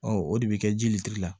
o de bɛ kɛ ji litiri la